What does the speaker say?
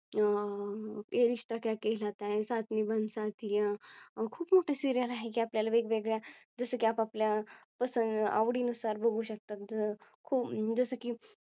अं ये रिश्ता क्या केहलाता है, सात निभाना साथिया, हे खूप मोठे सिरियल आहे की आपल्या ला वेगवेगळ्या जसं की आपल्या आवडी नुसार बघू शकता जसं की